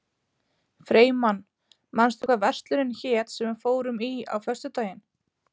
Freymann, manstu hvað verslunin hét sem við fórum í á föstudaginn?